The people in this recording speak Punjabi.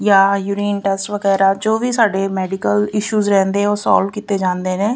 ਯਾ ਯੂਰੀਨ ਟੈਸਟ ਵਗੈਰਾ ਜੋ ਵੀ ਸਾਡੇ ਮੈਡੀਕਲ ਇਸ਼ੂਜ ਰਹਿੰਦੇ ਆ ਉਹ ਸੋਲਵ ਕੀਤੇ ਜਾਂਦੇ ਨੇ।